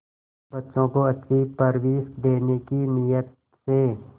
बच्चों को अच्छी परवरिश देने की नीयत से